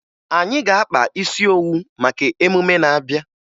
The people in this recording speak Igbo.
Anyị ga-akpa isi owu maka emume na-abịa